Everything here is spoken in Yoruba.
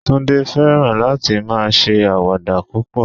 Tunde fẹ́ràn láti máa ṣe àwàdà púpọ̀